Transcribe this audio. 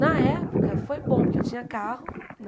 Na época, foi bom, porque eu tinha carro.